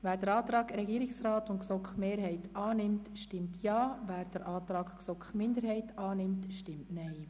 Wer den Antrag Regierungsrat/GSoK-Mehrheit annimmt, stimmt Ja, wer den Antrag GSoK-Minderheit/Boss annimmt, stimmt Nein.